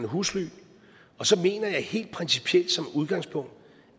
husly og så mener jeg helt principielt som udgangspunkt